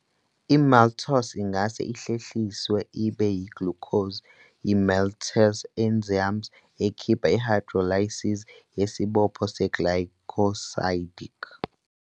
I-Maltose ingahle ihlehliswe ibe yi-glucose yi-maltase enzyme, ekhipha i-hydrolysis yesibopho se-glycosidic.